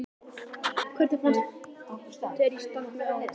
Hvernig fannst þér ég standa mig áðan?